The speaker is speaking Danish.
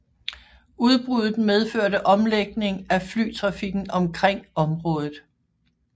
Udbruddet medførte omlægning af flytrafikken omkring området